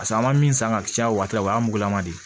an ma min san ka caya o waati la o y'a mugulama de ye